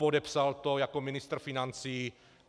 Podepsal to jako ministr financí.